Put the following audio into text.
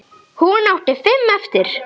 Hún átti fimm eftir.